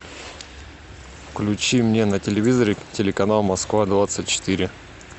включи мне на телевизоре телеканал москва двадцать четыре